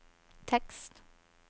tekst